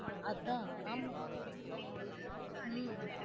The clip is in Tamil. அதான் ஆமா உம்